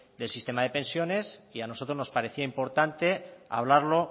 de sistema de pensiones y a nosotros nos parecía importante hablarlo